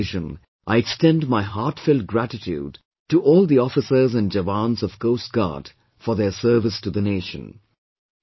On this occasion I extend my heartfelt gratitude to all the officers and jawans of Coast Guard for their service to the Nation